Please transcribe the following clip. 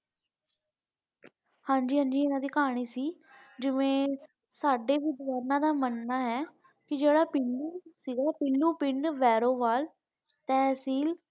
ਹਾਂਜੀ ਹਾਂਜੀ ਇਨ੍ਹਾਂਦੀ ਕਹਾਣੀ ਸੀ ਕਿ ਸਾਡੇ ਬੁਜ਼ੁਰਗਾਂ ਦਾ ਮੰਨ ਹੈ ਜੇਦਾ ਪੀਲੂ ਸੀ ਪੀਲੂ ਪਿੰਡ ਵੈਰੋਵਾਲ ਤਹਿਸੀਲ।